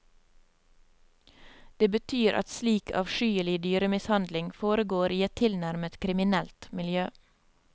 Det betyr at slik avskyelig dyremishandling foregår i et tilnærmet kriminelt miljø.